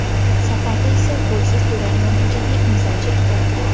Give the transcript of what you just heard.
Safarda esa golsiz durang natijaga imzo chekdi.